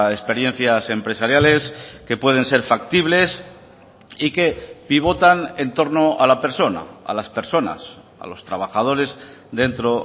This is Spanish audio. experiencias empresariales que pueden ser factibles y que pivotan en torno a la persona a las personas a los trabajadores dentro